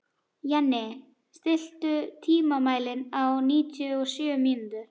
Jenni, stilltu tímamælinn á níutíu og sjö mínútur.